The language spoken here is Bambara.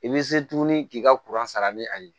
I bɛ se tuguni k'i ka sara ni a ye